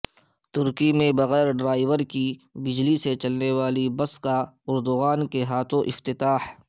ترکی میں بغیر ڈرائیور کی بجلی سے چلنے والی بس کا اردغان کے ہاتھوں افتتاح